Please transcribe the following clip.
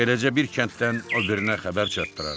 Beləcə bir kənddən o birinə xəbər çatdırardı.